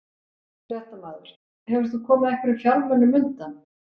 Fréttamaður: Hefur þú komið einhverjum fjármunum undan?